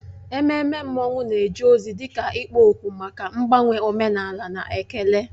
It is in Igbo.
Ememme mmanwụ na-eje ozi dị ka ikpo okwu maka mgbanwe omenala na ekele.